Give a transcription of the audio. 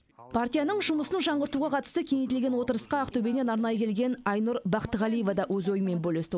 партияның жұмысын жаңғыртуға қатысты кеңейтілген отырысқа ақтөбеден арнайы келген айнұр бақтығалиева да өз ойымен бөлісті